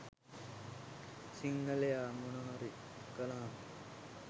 සිංහලයා මොනවහරි කලාම